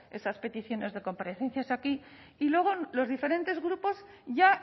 esas peticiones de comparecencias aquí y luego los diferentes grupos ya